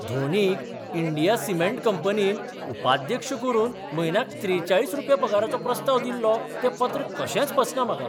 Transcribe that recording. धोनीक India cement कंपनीन उपाध्यक्ष करून म्हयन्याक त्रेचाळीस रुपया पगाराचो प्रस्ताव दिल्लो तें पत्र कशेंच पचना म्हाका.